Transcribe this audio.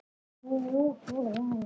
Þrír gírar.